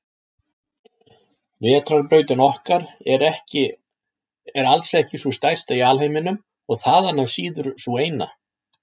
Vetrarbrautin okkar er alls ekki sú stærsta í alheiminum og þaðan af síður sú eina.